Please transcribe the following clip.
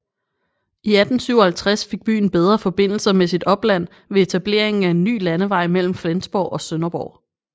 I 1857 fik byen bedre forbindelser med sit opland ved etableringen af en ny landevej mellem Flensborg og Sønderborg